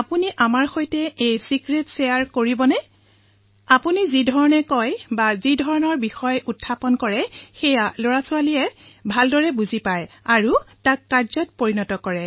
আপুনি এই ৰহস্য আমাৰ সৈতে বিনিময় কৰিব নেকি যে যিদৰে আপুনি কথা কয় অথবা যিবোৰ বিষয় আপুনি উত্থাপন কৰে সেয়া লৰাছোৱালীবোৰে ভালদৰে বুজি পায় আৰু পালন কৰে